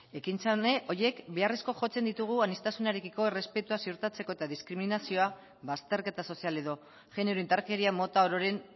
ekintza horiek beharrezko jotzen ditugu aniztasunarekiko errespetua ziurtatzeko eta diskriminazioa bazterketa sozial edo genero indarkeria mota ororen